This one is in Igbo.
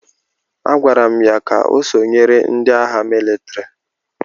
A gwara m ya ka o sonyere ndị agha mịlịtrị!